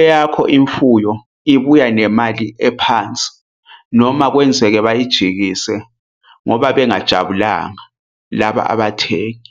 eyakho imfuyo ibuya nemali ephansi noma kwenzeke bayijikise ngoba bengajabulanga laba abathengi.